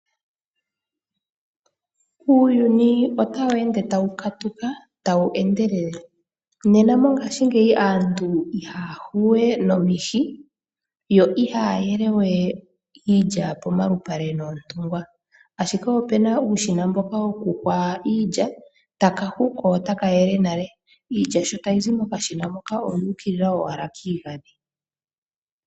Uuyuni otawu ende tawu katuka, tawu endelele. Nena mongaashingeyi aantu ihaya huwe nomihi, yo ihaya yele we iilya pomalupale noontungwa, ashike opuna uushina mboka wokuhwa iilya, taka hu, ko otaka yele nale. Iilya sho tayi zi mokashina moka oyu ukilila owala kiigandhi.